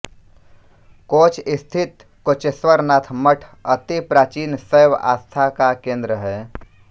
coach स्थित कोचेश्वरनाथ मठ अति प्राचीन शैव आस्था का केंद्र है